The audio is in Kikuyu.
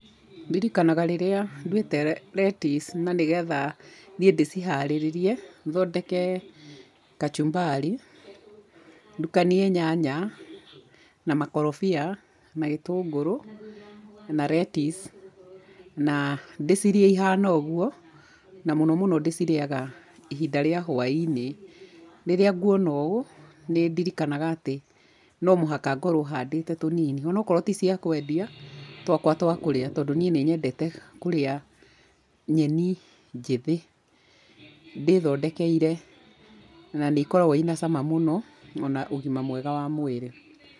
Ndirikanaga rĩrĩa nduĩte retici na nĩgetha thiĩ ndĩciharĩrĩrie, thondeke kachumbari, ndukanie nyanya na makorobia na gĩtũngũrũ na retici na ndĩcirĩe ihana ũguo na mũno mũno ndĩcirĩaga ihinda rĩa hwainĩ. Rĩrĩa nguona ũũ nĩndirikanaga atĩ no mũhaka ngorwo handũte tũnini, onokorwo ti cia kwendia, twakwa twa kũrĩa tondũ niĩ nĩnyendete kũrĩa nyeni njĩthĩ ndĩthondekeire, na nĩ ikoragwo ina cama mũno ona ũgima mwega wa mwĩrĩ.